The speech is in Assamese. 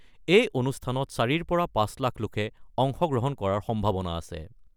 এই অনুষ্ঠানত ৪ৰ পৰা ৫ লাখ লোকে অংশগ্ৰহণ কৰাৰ সম্ভাৱনা আছে।